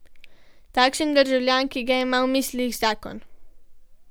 Takšen državljan, ki ga ima v mislih zakon.